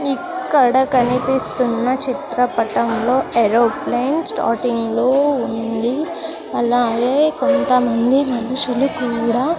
ఇక్కడ కనిపిస్తున్న చిత్రపటంలో ఏరోప్లేన్ స్టార్టింగ్ లో ఉంది అలాగే కొంతమంది మనుషులు కూడా.